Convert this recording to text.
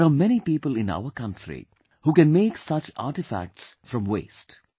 There are many people in our country who can make such artefacts from waste